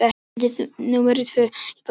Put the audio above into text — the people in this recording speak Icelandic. Fundi númer tvö í borgarstjórn lokið